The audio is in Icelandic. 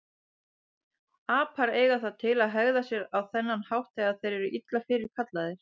Apar eiga það til að hegða sér á þennan hátt þegar þeir eru illa fyrirkallaðir.